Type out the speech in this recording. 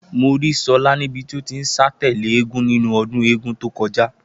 Mo rí So̩lá níbi tí ó ti ń sá tè̩lé eégún nínú o̩dún eégún tó ko̩já